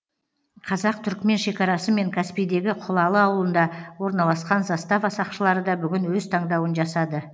қазақ түрікмен шекарасы мен каспийдегі құлалы ауылында орналасқан застава сақшылары да бүгін өз таңдауын жасады